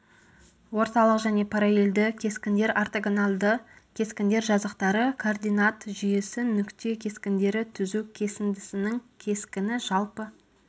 орталық және параллелді кескіндер ортогоналді кескіндер жазықтары координат жүйесі нүкте кескіндері түзу кесіндісінің кескіні жалпы